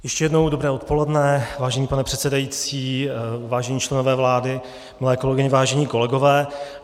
Ještě jednou dobré odpoledne, vážený pane předsedající, vážení členové vlády, milé kolegyně, vážení kolegové.